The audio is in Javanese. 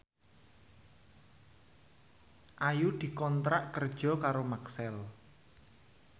Ayu dikontrak kerja karo Maxell